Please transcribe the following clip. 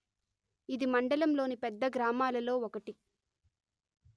ఇది మండంలోని పెద్ద గ్రామాలలో ఒకటి